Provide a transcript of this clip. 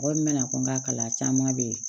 Mɔgɔ min bɛna fɔ n ka kalan caman bɛ yen